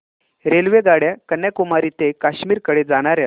रेल्वेगाड्या कन्याकुमारी ते काश्मीर कडे जाणाऱ्या